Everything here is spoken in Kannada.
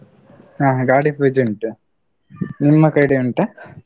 ಹ ಗಾಡಿ ಪೂಜೆ ಉಂಟು, ನಿಮ್ಮ ಕಡೆ ಉಂಟಾ?